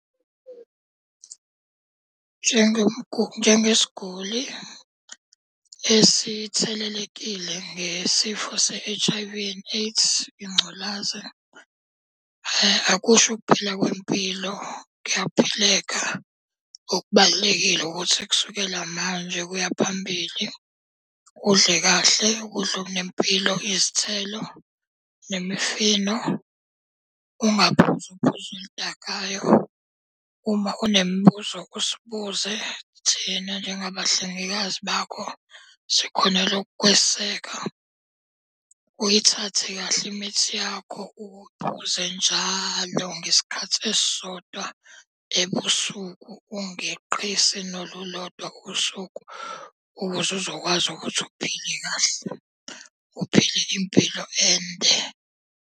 Njengesiguli esithelelekile ngesifo se-H_I_V and AIDS, ingculazi akusho ukuphela kwempilo, kuyaphileka. Okubalulekile ukuthi kusukela manje kuya phambili udle kahle ukudla okunempilo, izithelo nemifino. Ungaphuzi uphuzo oludakayo, uma unemibuzo usibuze thina njengabahlengikazi bakho sikhonela ukukweseka. Uyithathe kahle imithi yakho ukuphuze njalo ngesikhathi esisodwa ebusuku. Ungeqisi nolulodwa usuku ukuze uzokwazi ukuthi uphile kahle, uphile impilo ende.